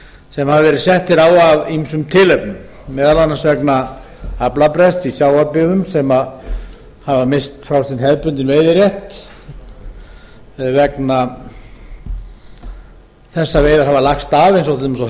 sem hafa verið settir á af ýmsum tilefnum meðal annars vegna aflabrests í sjávarbyggðum sem hafa misst frá sinn hefðbundinn veiðirétt vegna þess að veiðar hafa lagst af eins og til